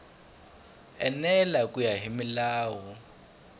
enela ku ya hi milawu